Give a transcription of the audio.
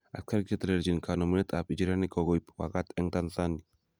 Asikarik chetelelchin konemunet ab ijirenik kokoib wakat eng Tanzani.